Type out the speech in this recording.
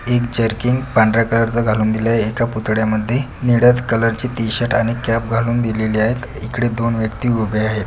एक जरकिन पांढर्‍या कलर च घालून दिलय एका पुतळयामध्ये निळ्या कलर ची टी शर्ट आणि कॅप घालून दिलेलेयत इकडे दोन व्यक्ति उभे आहेत.